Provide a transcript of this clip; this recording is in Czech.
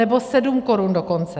Nebo 7 korun dokonce.